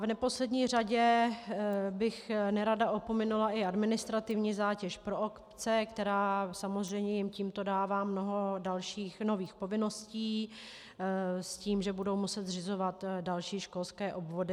V neposlední řadě bych nerada opominula i administrativní zátěž pro obce, která samozřejmě jim tímto dává mnoho dalších nových povinností s tím, že budou muset zřizovat další školské obvody.